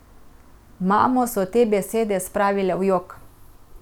Mamo so te besede spravile v jok.